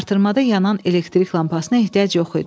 Artırmada yanan elektrik lampasına ehtiyac yox idi.